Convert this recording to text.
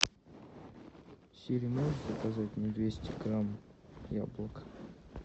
сири можешь заказать мне двести грамм яблок